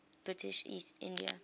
british east india